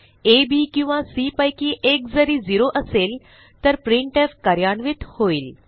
आ B किंवा C पैकी एक जरी 0 असेल तर प्रिंटफ कार्यान्वित होईल